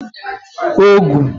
ogụ